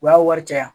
O y'a wari caya